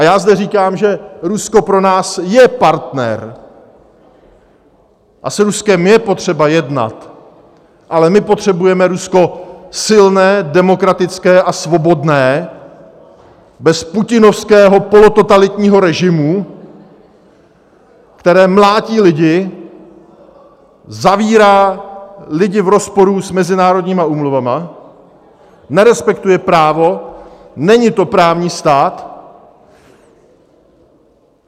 A já zde říkám, že Rusko pro nás je partner a s Ruskem je potřeba jednat, ale my potřebujeme Rusko silné, demokratické a svobodné bez putinovského polototalitního režimu, který mlátí lidi, zavírá lidi v rozporu s mezinárodními úmluvami, nerespektuje právo, není to právní stát.